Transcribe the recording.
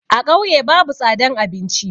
A ƙauye babu tsadan abinci.